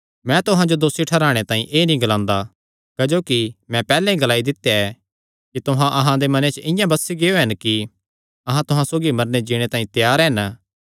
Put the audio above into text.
मैं तुहां जो दोसी ठैहराणे तांई एह़ नीं ग्लांदा क्जोकि मैं पैहल्लैं ई ग्लाई दित्या ऐ कि तुहां अहां दे मने च इआं बसी गियो हन कि अहां तुहां सौगी मरने जीणे तांई त्यार हन